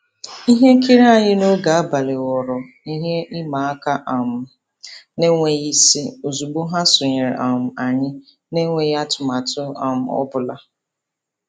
Ihe nkiri anyị n'oge abalị ghọọrọ ihe ịma aka um n'enweghị isi ozigbo ha sonyere um anyị n'enweghị atụmatụ um ọbụla.